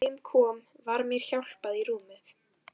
Þegar heim kom var mér hjálpað í rúmið.